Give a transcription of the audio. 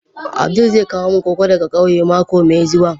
Abdul zai kawo min koko daga kauye mako mai zuwa.